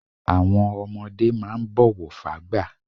Àwọn ọmọdé máà ń bọ̀wọ̀ fágbà